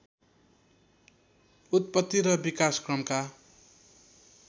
उत्तपति र विकासक्रमका